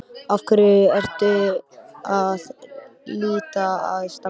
Af hverju ertu að leita að Stebba